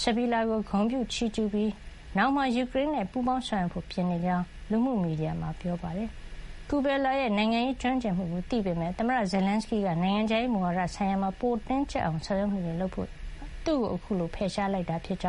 စဘီလာကို ဂုဏ်ပြုချီးကျူးလိုက်ပြီး နောင်မှာ ယူကရိန်းနဲ့ ပူးပေါင်းဆောင်ရွက်ဖို့ပြင်နေကြောင်း လူမှုမီဒီယာ X မှာ ပြောပါတယ်။ Kubela ရဲ့ နိုင်ငံရေးကျွမ်းကျင်မှုကို သိကြပေမယ့် သမ္မတ Zelenskyy က နိုင်ငံခြားရေးမူဝါဒ ဆိုင်ရာမှာ ပိုတင်းကြပ်အောင် ဆောင်ရွက်မှုတွေ လုပ်ဖို့ သူ့ကို အခုလို ဖယ်ရှားလိုက်တာ ဖြစ်ကြောင်း